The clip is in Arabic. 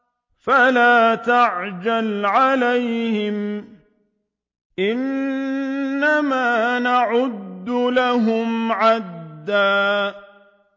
فَلَا تَعْجَلْ عَلَيْهِمْ ۖ إِنَّمَا نَعُدُّ لَهُمْ عَدًّا